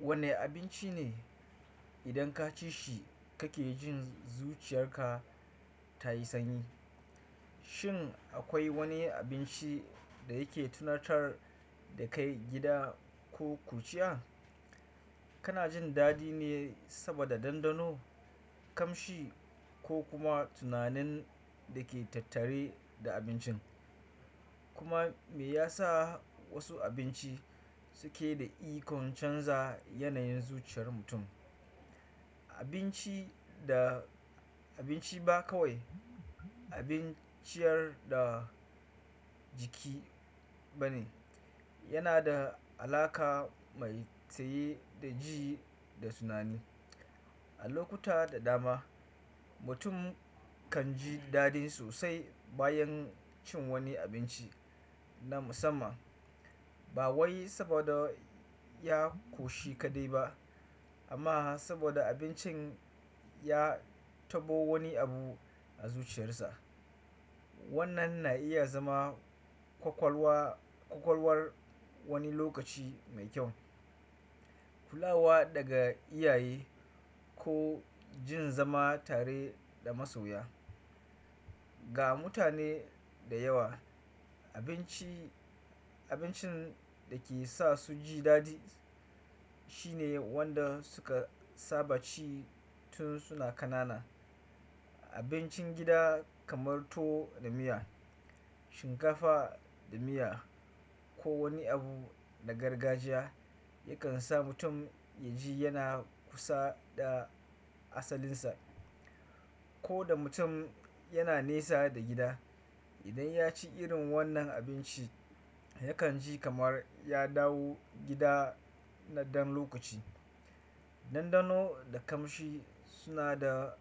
Wane abinci ne idan ka ci shi ka ke jin zuciyar ka ta yi sanyi? Shin akwai wani abinci da yake tunatar da kai gida ko ƙuruciya? Kana jin daɗi ne saboda ɗanɗano, ƙamshi ko kuma tunanin da ke tattare da abincin? Kuma me ya sa wasu abinci suke da ikon canza yanayin zuciyar mutum? Abinci ba kawai abun ciyar da jiki ba ne. Yana da alaƙa mai tsaye da ji da tunani. A lokuta da dama, mutum kan ji daɗi sosai bayan cin wani abinci na musamman, ba wai saboda ya ƙoshi kaɗai ba, amma saboda abincin ya tabo wani abu a zuciyarsa. Wannan na iya zama kwakwalwar wani lokaci mai kyau, kulawa daga iyaye ko jin zama tare da masoya. Ga mutane da yawa, abincin da ke sa su ji daɗi shine wanda suka saba ci tun suna ƙanana. Abincin gida kamar tuwo da miya, shinkafa da miya ko wani abu na gargajiya yakan sa mutum ya ji yana kusa da asalinsa. Ko da mutum yana nesa da gida, idan ya ci irin wannan abinci, yakan ji kamar ya dawo gida na ɗan lokaci. Dandano da kamshi suna da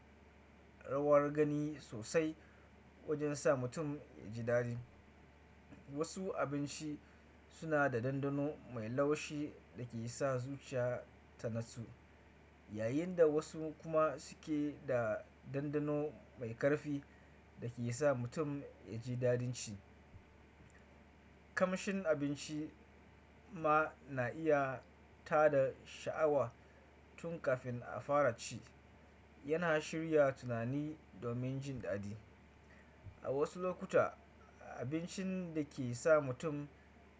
rawar gani sosai wajen sa mutum ya ji daɗi. Wasu abinci suna da ɗanɗano mai laushi da ke sa zuciya ta natsu, yayin da wasu kuma suke da ɗanɗano mai ƙarfi da ke sa mutum ya ji daɗin ci. Ƙamshin abinci ma na iya tada sha'awa tun kafin a fara ci, yana shirya tunani domin jin daɗi. A wasu lokuta, abincin da ke sa mutum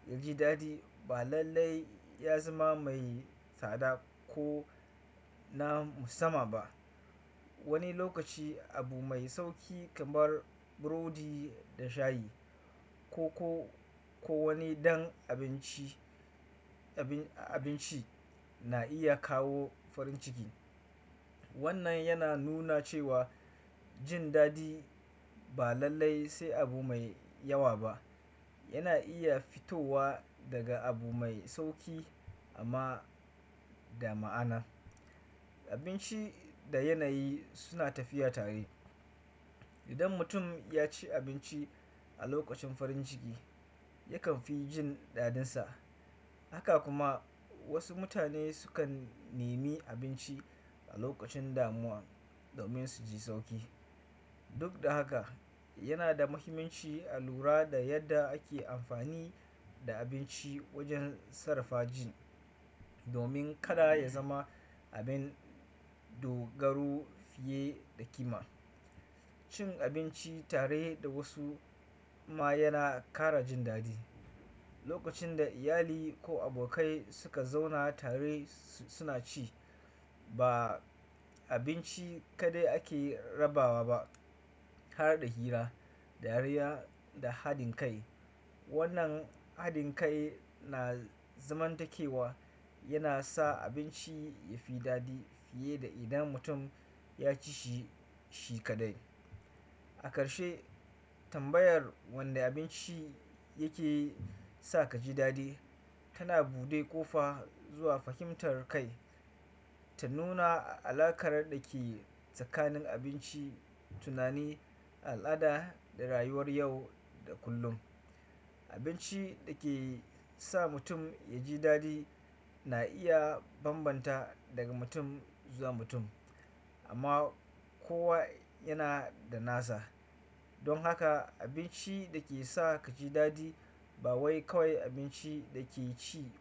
ya ji daɗi ba lallai ya zama mai tsada ko na musamman ba. Wani lokaci abu mai sauƙi kamar burodi da shayi ko ko wani ɗan abinci na iya kawo farin ciki. Wannan yana nuna cewa jin daɗi ba lallai sai abu mai yawa ba. Yana iya fitowa daga abu mai sauƙi amma da ma'ana. Abinci da yanayi suna tafiya tare. Idan mutum ya ci abinci a lokacin farin ciki, yakan fi jin daɗinsa. Haka kuma wasu mutane sukan nemi abinci a lokacin damuwa domin su ji sauƙi. Duk da haka, yana da muhimmanci a lura da yadda ake amfani da abinci wajen sarrafa jin, domin kada ya zama abin dogaro fiye da kima. Cin abinci tare da wasu ma yana ƙara jin daɗi. Lokacin da iyali ko abokai suka zauna tare suna ci, ba abinci kaɗai ake rabawa ba, har da hira, dariya da haɗin kai. Wannan haɗin kai na zamantakewa yana sa abinci ya fi daɗi fiye da idan mutum ya ci shi kaɗai. A ƙarshe, tambayar wani abinci yake sa ka ji daɗi tana bude ƙofa zuwa fahimtar kai, ta nuna alaƙar da ke tsakanin abinci, tunani, al'ada da rayuwar yau da kullum. Abinci da ke sa mutum ya ji daɗi na iya bambanta daga mutum zuwa mutum, amma kowa yana da nasa. Don haka abinci da ke sa ka ji daɗi ba wai kawai abinci da ke ci.